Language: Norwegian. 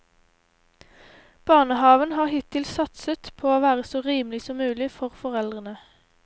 Barnehaven har hittil satset på å være så rimelig som mulig for foreldrene.